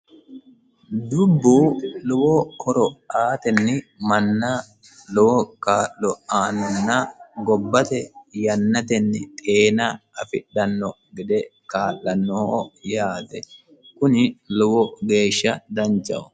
dubbu lowo horo aatenni mannaho lowo kaa'lo aannonna gobbate yannatenni xeena afidhanno gede kaa'lannoho yaate kuni lowo geeshsha danchaho